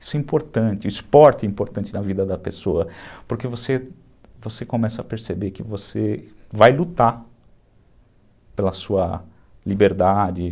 Isso é importante, o esporte é importante na vida da pessoa, porque você começa a perceber que você vai lutar pela sua liberdade.